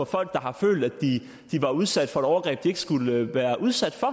folk der har følt at de var udsat for et overgreb de ikke skulle have været udsat for